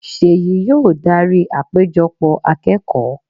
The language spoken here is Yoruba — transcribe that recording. seyí yóò darí àpéjọpọ̀ akẹ́kọ̀ọ́.